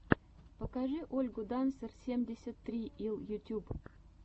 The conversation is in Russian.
покажи ольгу дансер семьдесят три ил ютьюб